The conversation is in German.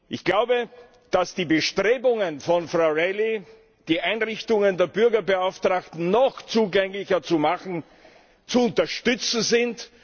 Ich glaube, dass die Bestrebungen von Frau O´Reilly, die Einrichtungen der Bürgerbeauftragten noch zugänglicher zu machen, zu unterstützen sind.